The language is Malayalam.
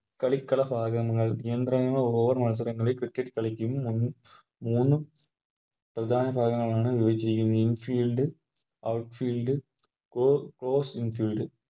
കളിക്കള ഭാഗങ്ങൾ നിയന്ത്രണങ്ങൾ ഓരോ മത്സരങ്ങളിലും Cricket കളിക്കും മുൻ മൂന്ന് പ്രധാന ഭാഗങ്ങളാണ് In field outfield In field